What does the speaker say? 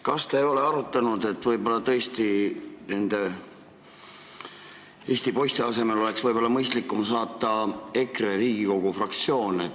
Kas te ei ole arutanud, et nende Eesti poiste asemel oleks võib-olla mõistlikum sinna saata Riigikogu EKRE fraktsioon?